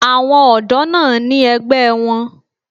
Àwọn ọ̀dọ́ náà ní ẹgbẹ́ wọn.